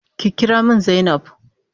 Ki kira min zainab.